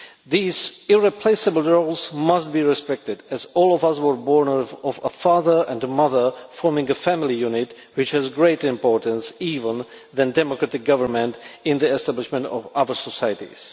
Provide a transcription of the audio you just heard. These irreplaceable roles must be respected, as all of us were born of a father and a mother, forming a family unit, which has greater importance even than democratic government in the establishment of other societies.